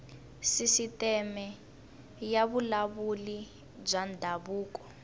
sisiteme ya vululami bya ndhavuko